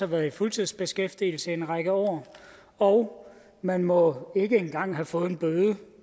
været i fuldtidsbeskæftigelse i en række år og man må ikke engang have fået en bøde